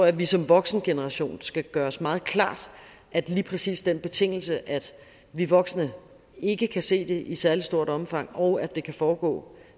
at vi som voksengeneration skal gøre os meget klart at lige præcis den betingelse at vi voksne ikke kan se det i særlig stort omfang og at det kan foregå